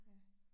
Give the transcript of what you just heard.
Ja